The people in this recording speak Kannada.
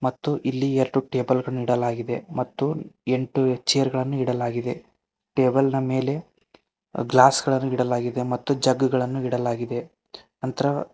ಮತ್ತು ಇಲ್ಲಿ ಎರಡು ಟೇಬಲ್ ಗಳನ್ನು ಇಡಲಾಗಿದೆ ಮತ್ತು ಎಂಟು ಚೇರ್ ಗಳನ್ನು ಇಡಲಾಗಿದೆ ಟೇಬಲ್ನ ಮೇಲೆ ಗ್ಲಾಸ್ ಗಳನ್ನು ಇಡಲಾಗಿದೆ ಮತ್ತು ಜಗ್ಗು ಗಳನ್ನು ಇಡಲಾಗಿದೆ ನಂತರ --